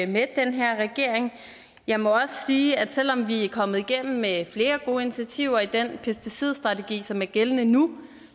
med den her regering jeg må også sige at selv om vi er kommet igennem med flere gode initiativer i den pesticidstrategi som er gældende nu